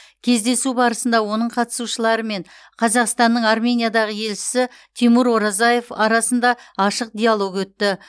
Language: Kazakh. кездесу барысында оның қатысушылары мен қазақстанның армениядағы елшісі тимур оразаев арасында ашық диалог өтті